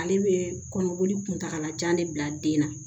Ale bɛ kɔnɔboli kuntagalajan de bila den na